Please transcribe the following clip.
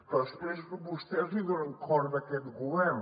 però després vostès li donen corda a aquest govern